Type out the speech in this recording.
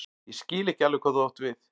Ég skil ekki alveg hvað þú átt við.